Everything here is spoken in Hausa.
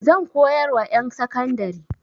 Zan koyar wa ƴan sakandari.